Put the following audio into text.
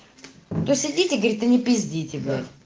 простите говорит и не пиздите